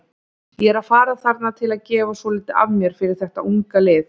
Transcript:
Ég er að fara þarna til að gefa svolítið af mér fyrir þetta unga lið.